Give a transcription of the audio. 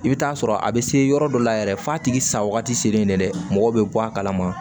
I bɛ taa sɔrɔ a bɛ se yɔrɔ dɔ la yɛrɛ f'a tigi sa wagati selen dɛ mɔgɔ bɛ bɔ a kalama